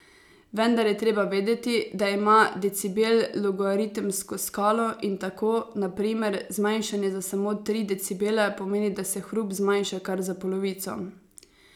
Vendar je treba vedeti, da ima decibel logaritemsko skalo in tako, na primer, zmanjšanje za samo tri decibele pomeni, da se hrup zmanjša kar za polovico.